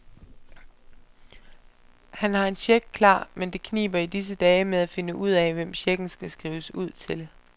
Han har en check klar, men det kniber i disse dage med at finde ud af, hvem checken skal skrives ud til.